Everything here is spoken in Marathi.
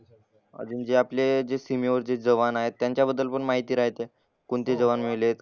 अजून जे आपले ते सीमेवर जे जवान आहेत त्यांच्याबद्दल पण माहिती राहते. कोणते जवान मेले,